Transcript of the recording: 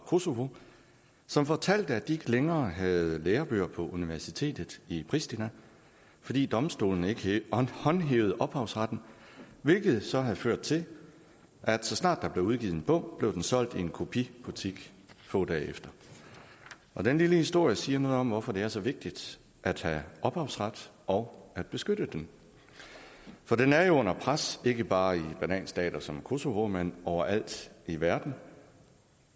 kosovo som fortalte at de ikke længere havde lærebøger på universitetet i priština fordi domstolene ikke håndhævede ophavsretten hvilket så havde ført til at så snart der blev udgivet en bog blev den solgt i en kopibutik få dage efter den lille historie siger noget om hvorfor det er så vigtigt at have ophavsret og at beskytte den for den er under pres ikke bare i bananstater som kosovo men overalt i verden